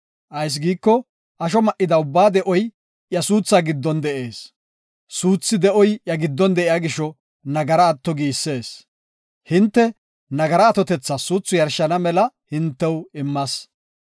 Ayis giiko asho ma7ida ubbaa de7oy iya suuthaa giddon de7ees; suuthi de7oy iya giddon de7iya gisho nagara atto giisees. Hinte nagara atotethas suuthu yarshana mela hintew immas.